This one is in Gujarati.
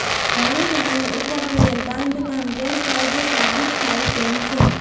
ઘણી જમીન ઉપર થયેેલ બાંધકામ ગેરકાયદે સાબિત થાય તેમ છે